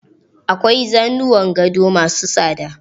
Akwai zanuwan gado ma su tsada.